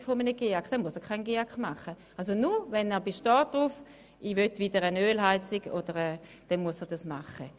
Er muss den GEAK nur machen, wenn er auf einer Ölheizung besteht.